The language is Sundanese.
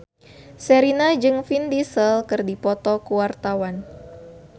Sherina jeung Vin Diesel keur dipoto ku wartawan